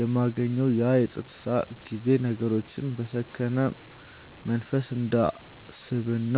የማገኘው ያ የፀጥታ ጊዜ ነገሮችን በሰከነ መንፈስ እንዳስብና